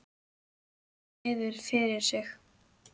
Horfði niður fyrir sig.